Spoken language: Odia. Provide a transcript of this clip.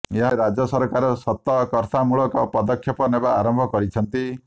ଏହାପରେ ରାଜ୍ୟ ସରକାର ସତକର୍ତ୍ତାମୂଳକ ପଦକ୍ଷେପ ନେବା ଆରମ୍ଭ କରିଛନ୍ତି